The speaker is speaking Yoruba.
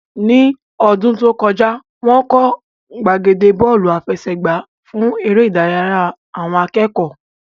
Ní ọdún tó kọjá, wọ́n kọ́ gbàgede Bọ́ọ̀lù àfẹsẹ̀gbá fún eré ìdárayá àwọn akẹ́kọ̀ọ́